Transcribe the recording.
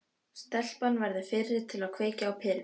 Stelpan verður fyrri til að kveikja á perunni.